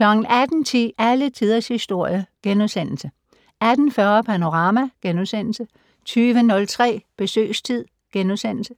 18:10: Alle Tiders Historie * 18:40: Panorama * 20:03: Besøgstid *